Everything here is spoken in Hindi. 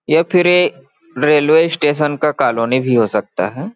ये फिर ये रेलवे स्टेशन का कॉलोनी भी हो सकता हैं।